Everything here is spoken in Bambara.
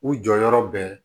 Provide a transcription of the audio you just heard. U jɔyɔrɔ bɛ